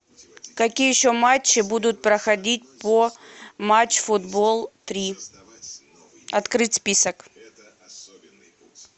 какие еще матчи будут проходить по матч футбол три открыть список